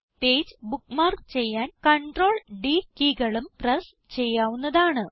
page bookmark ചെയ്യാൻ CTRL D കീകളും press ചെയ്യാവുന്നതാണ്